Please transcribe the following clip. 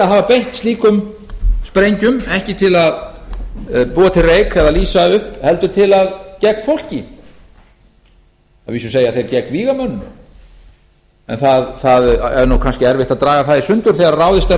hafa beint slíkum sprengjum ekki til að búa til reyk eða lýsa upp heldur gegn fólki að vísi segja þeir gegn vígamönnum en það er nú kannski erfitt að draga það í sundur þegar ráðist er á